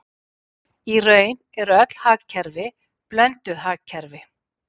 Í raun eru öll hagkerfi blönduð hagkerfi.